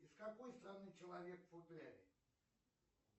из какой страны человек в футляре